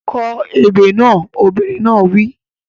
Kọ ebè kan! Obìnrin náà wí.